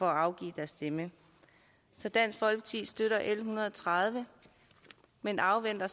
afgive deres stemme så dansk folkeparti støtter l en hundrede og tredive men afventer